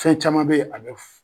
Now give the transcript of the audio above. Fɛn caman be ye a bɛ f